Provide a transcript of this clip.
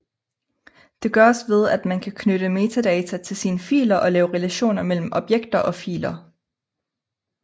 Det gøres ved at man kan knytte metadata til sine filer og lave relationer mellem objekter og filer